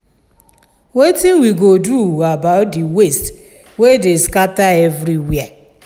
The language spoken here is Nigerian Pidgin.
wetin we go do about the waste wey dey scatter everywhere?